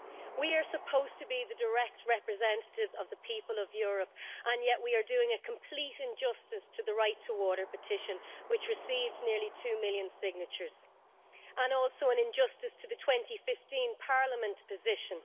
We are supposed to be the direct representatives of the people of Europe and yet we are doing a complete injustice to the Right to Water petition, which received nearly two million signatures, and also an injustice to the 2015 Parliament position.